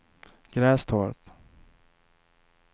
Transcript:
Grästorp